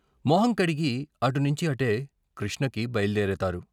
మొహంకడిగి అటు నించి అటే కృష్ణకి బయల్దేరతారు.